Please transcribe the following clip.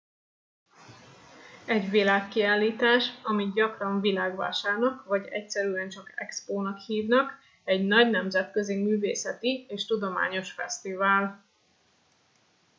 egy világkiállítás amit gyakran világvásárnak vagy egyszerűen csak expónak hívnak egy nagy nemzetközi művészeti és tudományos fesztivál